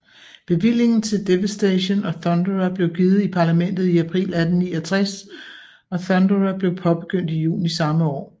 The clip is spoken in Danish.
Bevillingen til Devastation og Thunderer blev givet i Parlamentet i april 1869 og Thunderer blevpåbegyndt i juni samme år